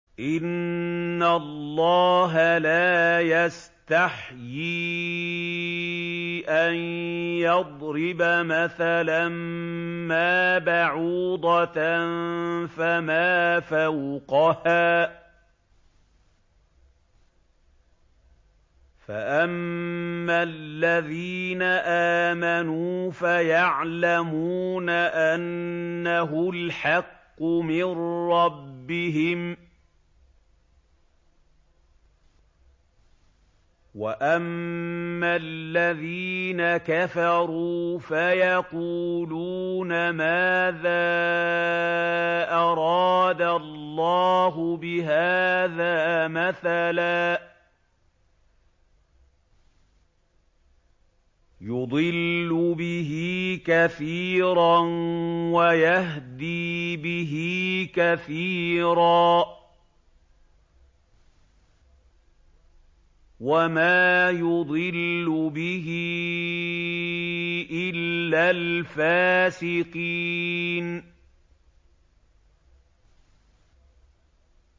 ۞ إِنَّ اللَّهَ لَا يَسْتَحْيِي أَن يَضْرِبَ مَثَلًا مَّا بَعُوضَةً فَمَا فَوْقَهَا ۚ فَأَمَّا الَّذِينَ آمَنُوا فَيَعْلَمُونَ أَنَّهُ الْحَقُّ مِن رَّبِّهِمْ ۖ وَأَمَّا الَّذِينَ كَفَرُوا فَيَقُولُونَ مَاذَا أَرَادَ اللَّهُ بِهَٰذَا مَثَلًا ۘ يُضِلُّ بِهِ كَثِيرًا وَيَهْدِي بِهِ كَثِيرًا ۚ وَمَا يُضِلُّ بِهِ إِلَّا الْفَاسِقِينَ